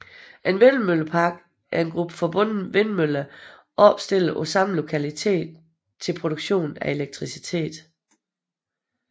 En vindmøllepark er en gruppe forbundne vindmøller opstillet på samme lokalitet til produktion af elektricitet